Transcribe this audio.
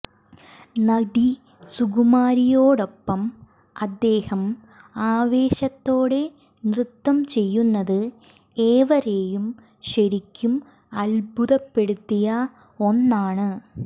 നടി സുകുമാരിയോടൊപ്പം അദ്ദേഹം ആവേശത്തോടെ നൃത്തം ചെയ്യുന്നത് ഏവരെയും ശരിക്കും അത്ഭുതപ്പെടുത്തിയ ഒന്നാണ്